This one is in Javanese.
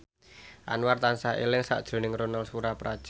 Anwar tansah eling sakjroning Ronal Surapradja